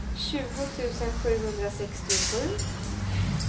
tjugo tusen sjuhundrasextiosju